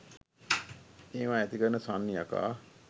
මේවා ඇතිකරන සන්නි යකා